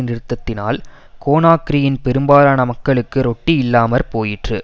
நிறுத்தத்தினால் கோனாக்ரியின் பெரும்பாலான மக்களுக்கு ரொட்டி இல்லாம போயிற்று